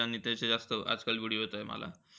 आणि त्याचे जास्त, आजकाल video येताय मला.